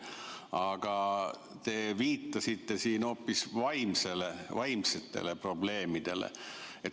Aga te viitasite siin hoopis vaimsetele probleemidele.